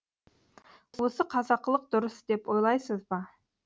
осы қазақылық дұрыс деп ойлайсыз ба